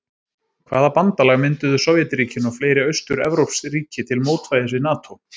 Hvaða bandalag mynduðu sovétríkin og fleiri austur-evrópsk ríki til mótvægis við NATÓ?